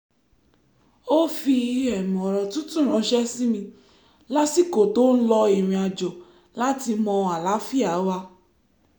ó fi ọ̀rọ̀ tútù ránṣẹ́ sí mi lásìkò tó ń lọ ìrìnàjò láti mọ àlàáfíà wa